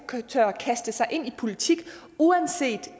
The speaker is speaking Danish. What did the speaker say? tør kaste sig ind i politik uanset